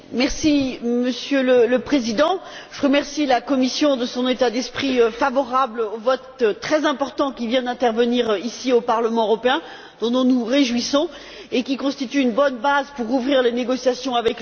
Monsieur le Président, je remercie la Commission pour son état d'esprit favorable au vote très important qui vient d'intervenir, ici, au Parlement européen, dont nous nous réjouissons, et qui constitue une bonne base pour ouvrir les négociations avec le Conseil.